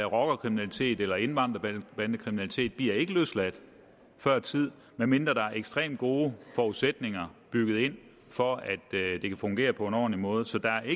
rockerkriminalitet eller indvandrerbandekriminalitet bliver ikke løsladt før tid medmindre der er ekstremt gode forudsætninger bygget ind for at det kan fungere på en ordentlig måde så der er